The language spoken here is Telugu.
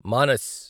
మానస్